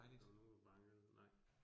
Der var nogen, der bankede, nej